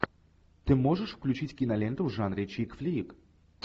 ты можешь включить киноленту в жанре чик флик